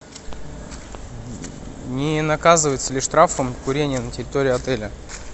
не наказывается ли штрафом курение на территории отеля